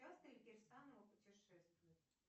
часто ли керсанова путешествует